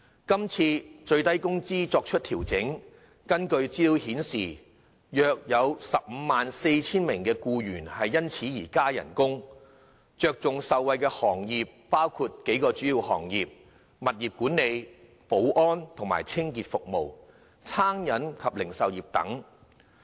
今次法定最低工資水平作出調整，根據資料顯示，約有 154,000 名僱員因而獲加薪，重點受惠的行業主要包括：物業管理、保安及清潔服務、餐飲及零售業等。